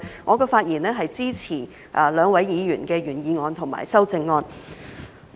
我發言是支持兩位議員的原議案及修正案。